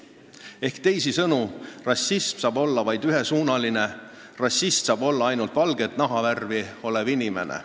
Ehk teisisõnu, rassism saab olla vaid ühesuunaline, rassist saab olla ainult valge nahaga inimene.